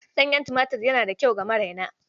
Ɗanyen tumatir yana da kyau ga maraina.